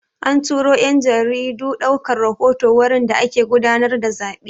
An turo 'yan jaridu ɗaukar rahoto wurin da ake gudanar da zaɓe.